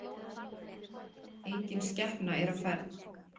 Enginn skepna er á ferð